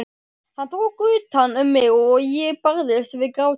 Hann tók utan um mig og ég barðist við grátinn.